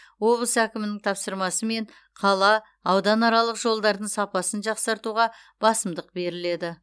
облыс әкімінің тапсырмасымен қала ауданаралық жолдардың сапасын жақсартуға басымдық беріледі